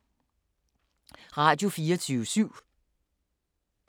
Radio24syv